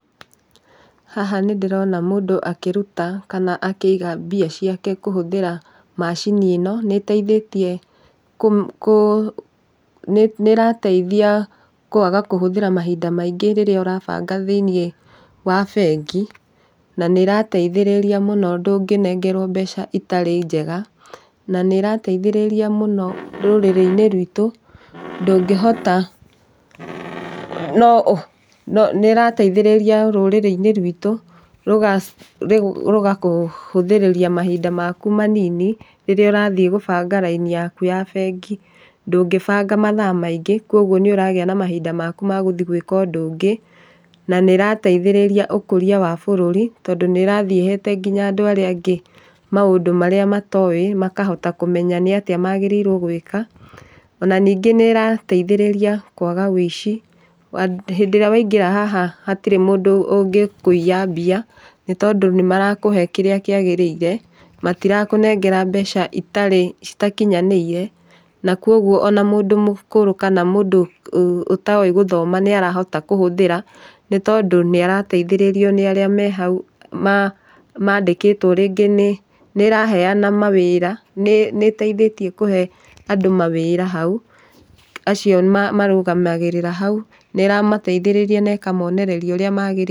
Haha nĩ ndĩrona mũndũ akĩrũta kana akĩiga mbia ciake kũhũthĩra macini ĩno. Nĩ ĩteithĩtie kũ, nĩ ĩrateithia kwaga kũhũthĩra mahinda maingĩ rĩrĩa ũrabanga thĩiniĩ wa bengi, na nĩ ĩrateithĩrĩria mũno ndũngĩnengerwo mbeca itarĩ njega. Na nĩ ĩrateithĩrĩria mũno rũrĩrĩ-inĩ rwitũ ndũngĩhota no, nĩ ĩrateithĩria rũrĩrĩ-inĩ rwitũ rũgakũhũthĩrĩria mahinda makũ manini rĩrĩa ũrathiĩ gũbanga raini yakũ ya bengi, ndũngĩbanga mathaa maingĩ. Kuoguo nĩ ũragĩa na mahinda maku ma gũthiĩ gwĩka ũndũ ũngĩ. Na nĩ ĩrateithĩrĩria ũkũria wa bũrũri, tondũ nĩ ĩrathiĩ ĩhete nginya andũ arĩa angĩ maũndũ marĩa matowĩ, makahota kũmenya nĩ atĩa magĩrĩirwo gwĩka. Ona ningĩ nĩ ĩrateithĩrĩria kwaga ũici, wa, hĩndĩ ĩrĩa waingĩra haha hatirĩ mũndũ ũngĩkũiya mbia, nĩ tondũ nĩ marakũhe kĩrĩa kĩagĩrĩire, matirakũnengera mbeca itarĩ, cĩtakinyanĩire. Na koguo ona mũndũ mũkũrũ kana mũndũ ũtowĩ gũthoma nĩ arahota kũhũthĩra, nĩ tondũ nĩ ĩrateithĩrĩrio nĩ arĩa me haũ arĩa mandĩkĩtwo rĩngĩ, nĩ ĩraheyana mawĩra, nĩ ĩteithĩtie kũhe andũ mawĩra haũ, acio marũgamagĩrĩra haũ, nĩ ĩramaiteithĩrĩria na ĩkamoneneria ũrĩa magĩrĩirwo...